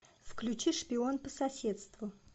включи шпион по соседству